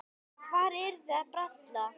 Hvað eruð þið að bralla?